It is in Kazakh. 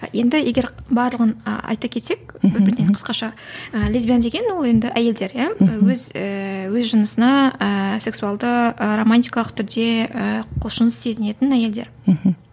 енді егер барлығын айта кетсек бір бірден қысқаша ы лесбиян деген ол енді әйелдер иә өз өз жынысына ы сексуалды ы романтикалық түрде ы құлшыныс сезінетін әйелдер мхм